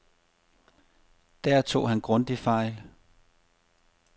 Der tog han grundigt fejl.